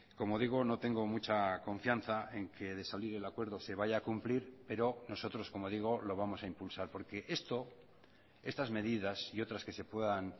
como digo no tengo mucha confianza en que de salir el acuerdo se vaya a cumplir pero nosotros como digo lo vamos a impulsar porque esto estas medidas y otras que se puedan